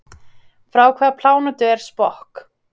Frá hvaða plánetu er Spock?